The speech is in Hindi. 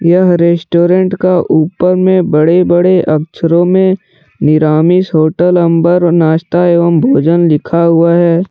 यह रेस्टोरेंट का ऊपर में बड़े बड़े अक्षरों में निरामिष होटल अम्बर नाश्ता एवं भोजन लिखा हुआ हैं।